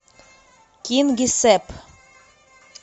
кингисепп